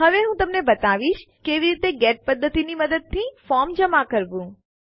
હવે હું તમને બતાવીશ કે કેવી રીતે ગેટ પદ્ધતિની મદદથી ફોર્મ જમા કરવું